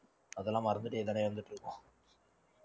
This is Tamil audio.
அதெல்லாம் மறந்துட்டு